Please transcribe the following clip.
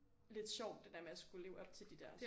Lidt sjovt det der med at skulle leve op til de der